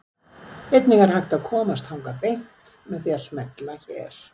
Einnig er hægt að komast þangað beint með því að smella hér.